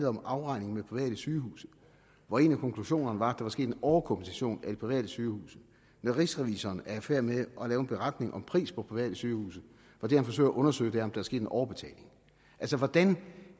om afregning med private sygehuse hvor en af konklusionerne var at var sket en overkompensation af de private sygehuse når rigsrevisor er i færd med at lave indberetning om pris på private sygehuse hvor det han forsøger at undersøge er om der er sket en overbetaling altså hvordan